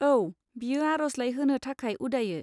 औ, बियो आरजलाइ होनो थाखाय उदायो।